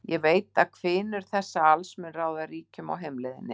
Ég veit að hvinur þessa alls mun ráða ríkjum á heimleiðinni.